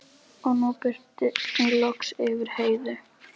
Og nú birti loks yfir Heiðu.